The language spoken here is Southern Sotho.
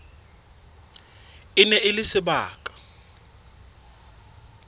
e ne e le sebaka